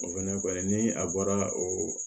O fɛnɛ kɔni ni a bɔra o